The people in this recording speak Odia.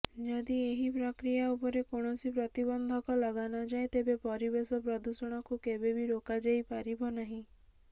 ଯଦି ଏହି ପ୍ରକ୍ରିଆ ଉପରେ କୌଣସି ପ୍ରତିବନ୍ଧକ ଲଗାନଯାଏ ତେବେ ପରିବେଶ ପ୍ରଦୂଷଣକୁ କେବେବି ରୋକାଯାଇ ପାରିବ ନାହିଁ